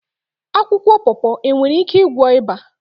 Akwụkwọ pọpọ e nwere ike ịgwọ ịba?